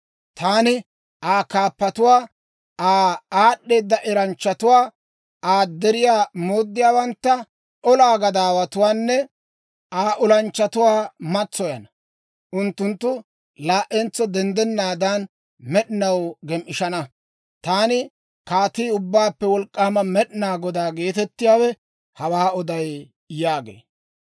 Taani Aa kaappotuwaa, Aa aad'd'eeda eranchchatuwaa, Aa deriyaa mooddiyaawantta, Aa olaa gadaawatuwaanne Aa olanchchatuwaa matsoyana; unttunttu laa"entso denddennaadan, med'inaw gem"ishana. Taani Kaatii, Ubbaappe Wolk'k'aama Med'inaa Godaa geetettiyaawe hawaa oday» yaagee.